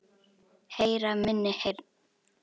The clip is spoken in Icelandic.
Heyra minni heyrn.